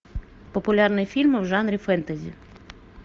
популярные фильмы в жанре фэнтези